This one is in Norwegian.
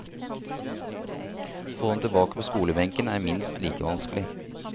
Å få dem tilbake på skolebenken er minst like vanskelig.